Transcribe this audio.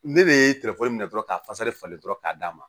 Ne bɛ minɛ dɔrɔn ka fasa falen dɔrɔn k'a d'a ma